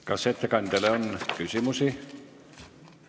Kas ettekandjale on küsimusi?